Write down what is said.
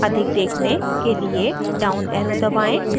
अधिक देखने के लिए down arrow दबाएँ